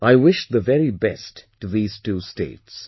I wish the very best to these two states